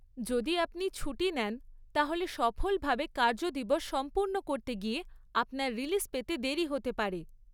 যদি আপনি ছুটি নেন তাহলে সফলভাবে কার্যদিবস সম্পূর্ণ করতে গিয়ে আপনার রিলিজ পেতে দেরি হতে পারে।